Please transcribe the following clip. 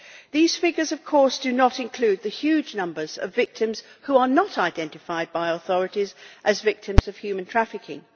These figures do not, of course, include the huge numbers of victims who are not identified by authorities as victims of human trafficking.